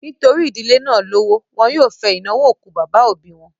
Nítorí ìdílé náà lówó, wọn yóò fẹ ìnáwó òkú bàbá òbí wọn